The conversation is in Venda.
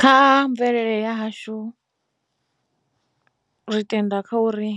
Kha mvelele ya hashu ri tenda kha uri